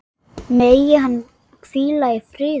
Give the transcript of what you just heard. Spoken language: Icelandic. Megi hann hvíla í friði.